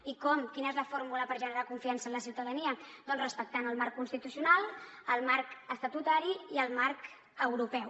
i com quina és la fórmula per generar confiança en la ciutadania doncs respectant el marc constitucional el marc estatutari i el marc europeu